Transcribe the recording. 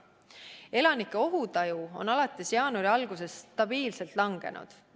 Elanike ohutaju on alates jaanuari algusest stabiilselt langenud.